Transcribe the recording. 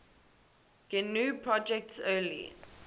gnu project's early